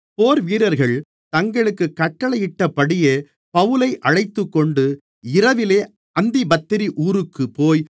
போர்வீரர்கள் தங்களுக்குக் கட்டளையிட்டபடியே பவுலை அழைத்துக்கொண்டு இரவிலே அந்திப்பத்திரி ஊருக்குப்போய்